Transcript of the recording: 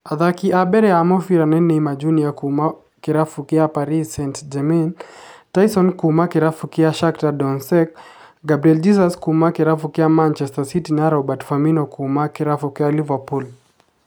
Athaki a mbere a mũbira nĩ Neymar Jr kuuma kĩrabu kĩa Paris St-Germain, Taison kuuma kĩrabu kĩa Shakhtar Donetsk, Gabriel Jesus kuuma kĩrabu kĩa Manchester City na Roberto Firmino kuuma kĩrabu kĩa Liverpool.